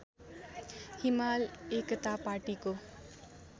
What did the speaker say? हिमाल एकता पाटीको